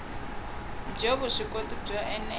byo vuswikoti byo ene la